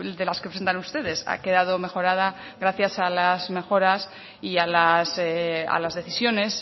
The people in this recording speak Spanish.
de las que presentan ustedes ha quedado mejorada gracias a las mejoras y a las decisiones